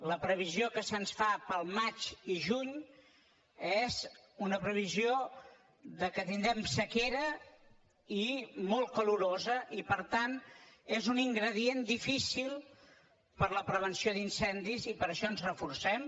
la previsió que se’ns fa per al maig i juny és una previsió que tindrem sequera i molt calorosa i per tant és un ingredient difícil per a la prevenció d’incendis i per això ens reforcem